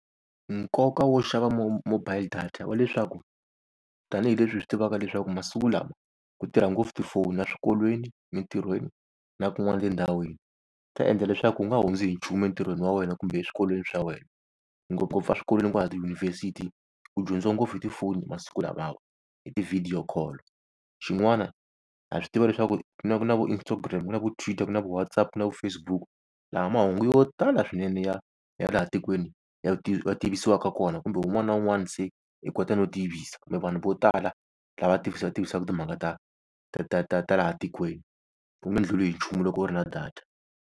Nkoka wo xava mobile data wa leswaku tanihileswi hi swi tivaka leswaku masiku lama ku tirha ngopfu tifoni eswikolweni mintirhweni na kun'wana tindhawini ta endla leswaku u nga hundzi hi nchumu entirhweni wa wena kumbe eswikolweni swa wena, ngopfungopfu swikolweni kwahala tiyunivhesiti ku dyondziwa ngopfu hi tifoni masiku lamawa, hi ti-video call. Xin'wana ha swi tiva leswaku ku na ku na vo Instagram ku na vo Twitter na vo WhatsApp ku na vo Facebook, laha mahungu yo tala swinene ya ya laha tikweni ya ti va tivisiwaka kona kumbe un'wana na un'wana se i kota no tivisa kumbe vanhu vo tala lava tivisa tivisaku timhaka ta ta ta ta ta ta laha tikweni. U nge ndluli hi nchumu loko u ri na data.